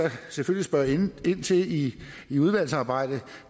selvfølgelig spørge ind til i i udvalgsarbejdet